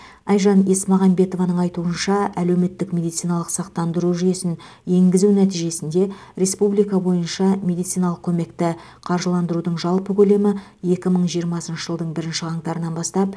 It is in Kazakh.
айжан есмағамбетованың айтуынша әлеуметтік медициналық сақтандыру жүйесін енгізу нәтижесінде республика бойынша медициналық көмекті қаржыландырудың жалпы көлемі екі мың жиырмасыншы жылдың бірінші қаңтарынан бастап